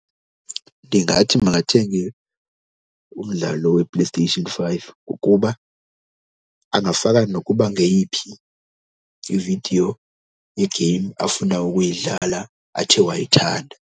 Ndingathi makathenge umdlalo wePlayStation five ngokuba angafaka nokuba ngeyiphi ividiyo yegeyimu afuna ukuyidlala athe wayithanda.